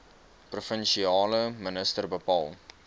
provinsiale minister bepaal